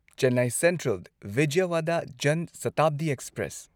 Chennai central Vijayawada Jan Shatabdi express